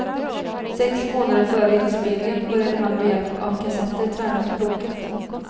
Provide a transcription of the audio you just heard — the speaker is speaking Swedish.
Sex månader före inspelningen började han med hjälp av kassetter träna språket.